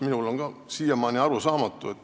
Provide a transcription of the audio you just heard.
See on mulle siiamaani arusaamatu.